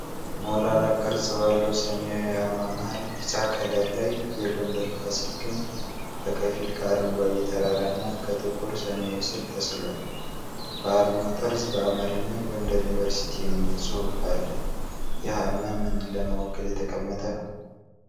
ሞላላ ቅርጽ ባለው ሰማያዊ አርማ መሃል ቢጫ ከለር ላይ የጎንደር ፋሲል ግንብ በከፊል ከአረንጓዴ ተራራና ከጥቁር ሰማይ ስር ተስሏል። በአርማው ጠርዝ በአማርኛ "ጎንደር ዩኒቨርሲቲ" የሚል ጽሑፍ አለ፤ ይህ አርማ ምንን ለመወከል የተቀመጠ ነው?